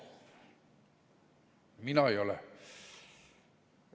Mina ei ole.